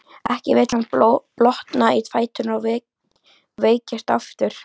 Ekki vill hann blotna í fæturna og veikjast aftur.